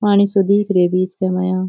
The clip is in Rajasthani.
पानी सो दीख रेहो बिच के माया।